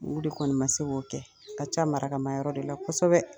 u de kɔni ma se K'o kɛ ka ca maraka ma yɔrɔ de la kosɛbɛ